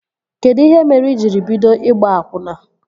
Kedụ ihe mere i jiri bido ịgba akwụna?